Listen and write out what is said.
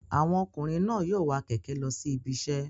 Àwọn ọkùnrin náà yóò wa kẹ̀kẹ́ lọ sí ibiṣẹ́